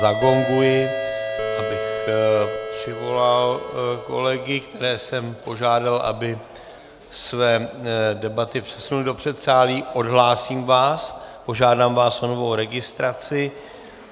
Zagonguji, abych přivolal kolegy, které jsem požádal, aby své debaty přesunuli do předsálí, odhlásím vás, požádám vás o novou registraci.